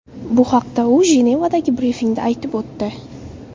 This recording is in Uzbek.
Bu haqda u Jenevadagi brifingda aytib o‘tdi.